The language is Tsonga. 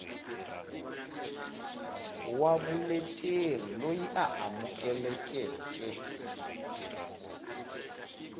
wa vuleteri loyi a amukelekeke